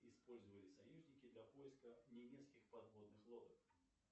использовали союзники для поиска немецких подводных лодок